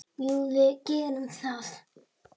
Jú, við gerum það.